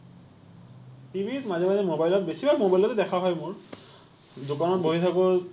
TV ত মাজে মাজে মবাইলত বেছিভাগ মবাইলতে দেখা হয় মোৰ, দোকানত বহি থাকো